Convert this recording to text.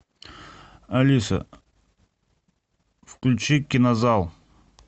алиса включи кинозал